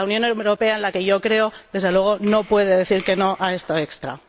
La Unión Europea en la que yo creo, desde luego, no puede decir que no a este extra.